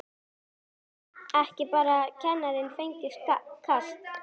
Af hverju gat ekki bara kennarinn fengið kast?